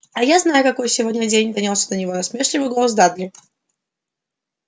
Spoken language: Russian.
а я знаю какой сегодня день донёсся до него насмешливый голос дадли